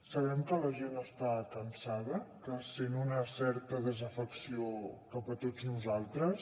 sabem que la gent està cansada que sent una certa desafecció cap a tots nosaltres